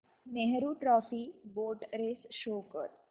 Nehru trophy boat race show कर